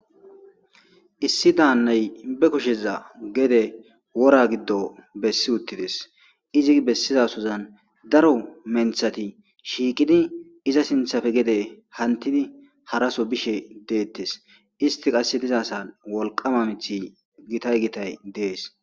Issi daannay be kusheza gede wora giddo bessi uttides izi bessizasozan daro menthati shiiqidi iza sinthafe gede hantidi haraso bishe deettes isti qasse diza sa wolqama mithi gitay gitay dees.